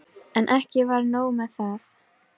En ekki var nóg með það.